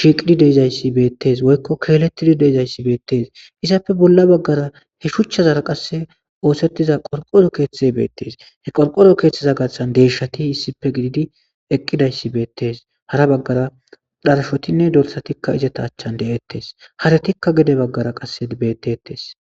shiqqidi deizayssi bettes woykko kelletdi deizayssi bettes izzape bolla baggara he shuchchazara qasse oththetida qorqqoro keththay bettes qorqqoro keththaza gaththan deshshati issippe giddidi eqqidayssi bettes hara baggara dharshotinne dorssati izets achara de'etes haaratika gede baggara bettetes.